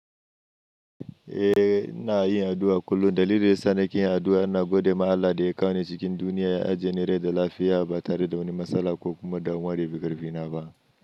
Eh, ina yin addu'a kullum. Dalilin yasa nake yin addu'a yana godiya ma Allah da ya kawo ni cikin duniya ya ajeni rai da lafiya ba tare da wani matsala ko kuma damuwa da yafi karfina ba.